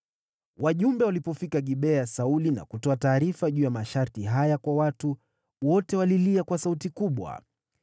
Wajumbe walipofika Gibea ya Sauli na kutoa taarifa juu ya masharti haya kwa watu, wote walilia kwa sauti kubwa.